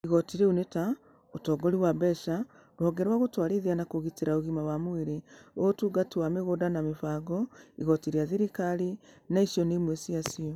Igoti icio nĩ ta: Ũtongoria wa Mbeca, Rũhonge rwa Gũtwarithia na Kũgitĩra Ũgima wa Mwĩrĩ, Ũyũ Ũtũngata wa Mĩgũnda na Mĩbango, Igoti rĩa Thirikari, na icio nĩ imwe cia cio.